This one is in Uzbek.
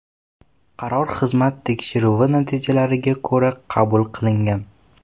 Qaror xizmat tekshiruvi natijalariga ko‘ra qabul qilingan.